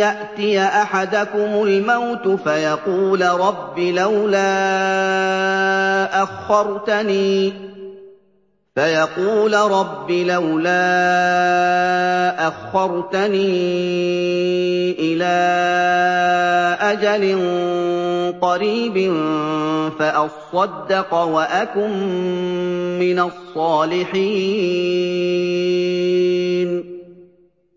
يَأْتِيَ أَحَدَكُمُ الْمَوْتُ فَيَقُولَ رَبِّ لَوْلَا أَخَّرْتَنِي إِلَىٰ أَجَلٍ قَرِيبٍ فَأَصَّدَّقَ وَأَكُن مِّنَ الصَّالِحِينَ